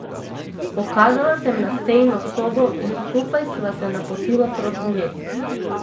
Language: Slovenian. Pokazala sem na sejno sobo in skupaj sva se napotila proti njej.